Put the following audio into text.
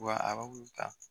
Wa ba ta